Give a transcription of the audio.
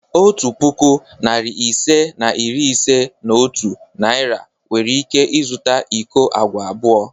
Otu puku, narị ise na iri ise na otu Naira nwere ike zụta iko agwa abụọ.